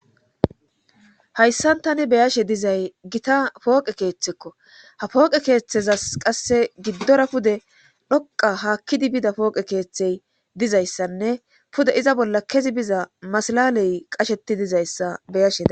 hayssan tani beyashe dizay gita pooqe keeththekko ha pooqe keeththezas qasse giddora pude dhoqa haakkidi bida pooqe keeththey dizayssanne pude iza bolla kezi biza masalaley qasheti dizayssa beyashea